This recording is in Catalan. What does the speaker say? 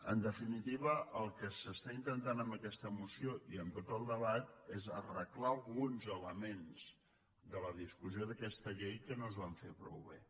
en definitiva el que s’està intentant amb aquesta mo·ció i amb tot el debat és arreglar alguns elements de la discussió d’aquesta llei que no es van fer prou bé